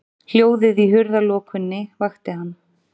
Hljóðið í hurðarlokunni vakti hann.